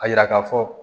A yira ka fɔ